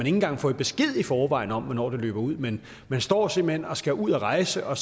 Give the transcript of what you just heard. engang får besked i forvejen om hvornår det løber ud men man står simpelt hen og skal ud at rejse og